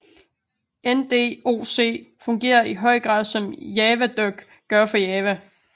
NDoc fungerer i høj grad som JavaDoc gør for Java